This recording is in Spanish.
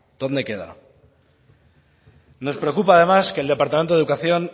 dónde queda nos preocupa además que el departamento de educación